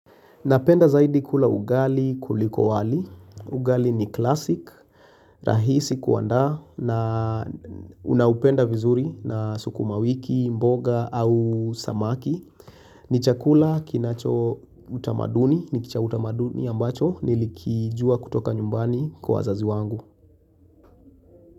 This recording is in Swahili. Napenda zaidi kula ugali kuliko wali. Ugali ni klasik, rahisi kuanda na Unaupenda vizuri na sukuma wiki, mboga au samaki. Ni chakula kinacho utamaduni, ni kichautamaduni ambacho nilikijua kutoka nyumbani kwa wazazi wangu.